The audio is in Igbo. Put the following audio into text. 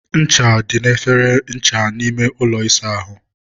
ncha dị n'efere ncha n'ime ụlọ ịsa ahụ.